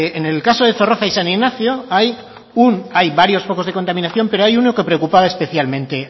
en el caso de zorroza y san ignacio hay varios focos de contaminación pero hay uno que preocupaba especialmente